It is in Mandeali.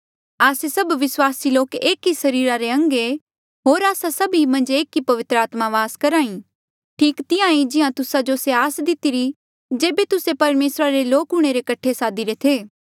आस्से सभ विस्वासी लोक एक ई सरीरा रे अंग ऐें होर आस्सा सभी मन्झ एक ई पवित्र आत्मा वास करहा ठीक तिहां ई जिहां तुस्सा जो से ही आस दितिरी थी जेबे तुस्से परमेसरा रे लोक हूंणे रे कठे सादीरे थे